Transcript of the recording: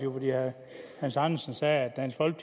og hurtigere